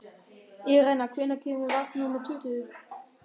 Irena, hvenær kemur vagn númer tuttugu?